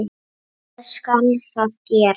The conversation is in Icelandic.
Hvað skal þá gera?